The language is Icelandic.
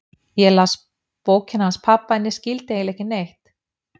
Ég las bókina hans pabba en ég skildi eiginlega ekki neitt.